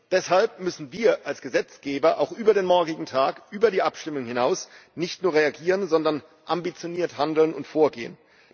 Deshalb müssen wir als Gesetzgeber auch über den morgigen Tag, über die Abstimmung hinaus nicht nur reagieren, sondern ambitioniert handeln und vorgehen.